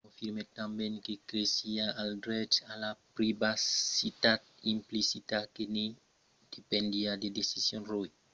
confirmèt tanben que cresiá al drech a la privacitat implicita que ne dependiá la decision roe